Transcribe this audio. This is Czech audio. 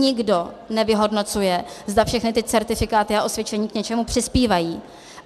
Nikdo nevyhodnocuje, zda všechny ty certifikáty a osvědčení k něčemu přispívají.